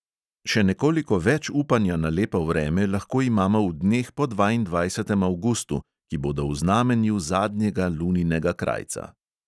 Še nekoliko več upanja na lepo vreme lahko imamo v dneh po dvaindvajsetem avgustu, ki bodo v znamenju zadnjega luninega krajca.